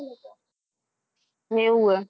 એવું હે?